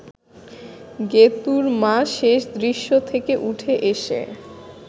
গেতুঁর মা শেষ দৃশ্য থেকে উঠে এসে